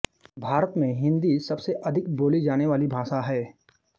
भारत में हिन्दी सब से अधिक बोली जाने वाली भाषा है